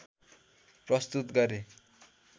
प्रस्तुत गरे